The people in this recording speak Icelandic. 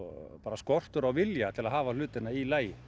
skortur á vilja til að hafa hlutina í lagi